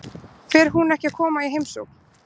Fer hún ekki að koma í heimsókn?